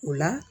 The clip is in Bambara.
O la